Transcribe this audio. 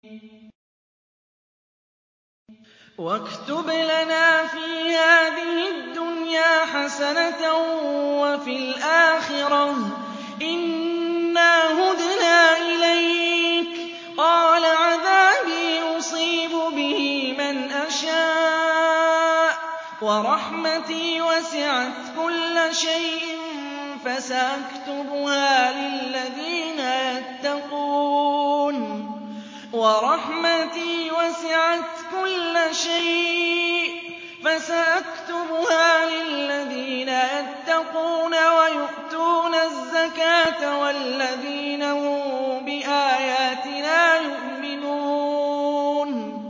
۞ وَاكْتُبْ لَنَا فِي هَٰذِهِ الدُّنْيَا حَسَنَةً وَفِي الْآخِرَةِ إِنَّا هُدْنَا إِلَيْكَ ۚ قَالَ عَذَابِي أُصِيبُ بِهِ مَنْ أَشَاءُ ۖ وَرَحْمَتِي وَسِعَتْ كُلَّ شَيْءٍ ۚ فَسَأَكْتُبُهَا لِلَّذِينَ يَتَّقُونَ وَيُؤْتُونَ الزَّكَاةَ وَالَّذِينَ هُم بِآيَاتِنَا يُؤْمِنُونَ